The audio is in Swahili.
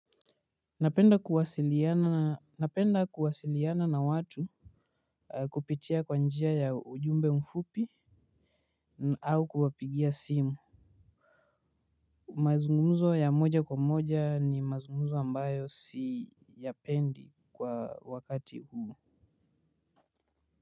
Napenda kuwasiliana na watu. Kupitia kwa njia ya ujumbe mfupi au kuwapigia simu. Mazungumzo ya moja kwa moja ni mazungumzo ambayo siyapendi kwa wakati huu.